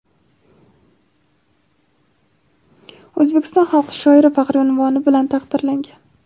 "O‘zbekiston xalq shoiri" faxriy unvoni bilan taqdirlangan.